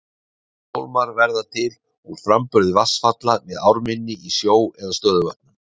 Óshólmar verða til úr framburði vatnsfalla við ármynni í sjó eða stöðuvötnum.